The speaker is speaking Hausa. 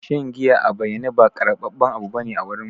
Shan giya a bayane ba karbaben abu bane a wurin mu.